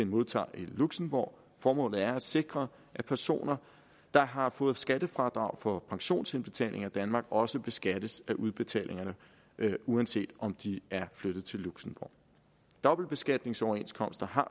modtager i luxembourg formålet er at sikre at personer der har fået skattefradrag for pensionsindbetalinger i danmark også beskattes af udbetalingerne uanset om de er flyttet til luxembourg dobbeltbeskatningsoverenskomster har